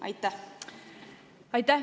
Aitäh!